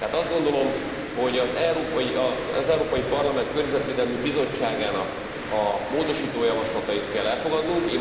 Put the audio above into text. Tehát azt gondolom, hogy az Európai Parlament Környezetvédelmi Bizottságának a módosító javaslatait kell elfogadnunk.